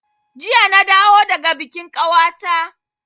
Jiya na dawo daga bikin kawata